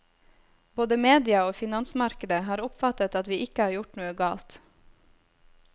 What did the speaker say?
Både media og finansmarkedet har oppfattet at vi ikke har gjort noe galt.